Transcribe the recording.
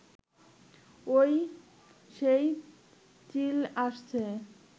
ঐ সেই চিল আসছে